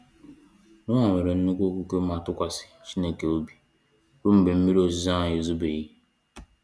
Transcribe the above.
Noah nwere nnukwu okwukwe ma tụkwasị Chineke obi rue mgbe mmiri ozizo ahu ezobeghi